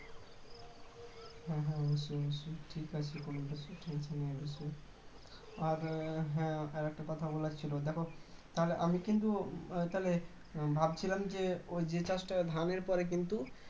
হ্যাঁ হ্যাঁ নিশ্চই নিশ্চই ঠিক আছে . আর হ্যাঁ একটা কথা বলার ছিল দেখো তাহলে আমি কিন্তু তাহলে ভাবছিলাম যে ওই যে চাষটা ধানের পরে কিন্তু